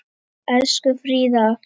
Elsku Fríða.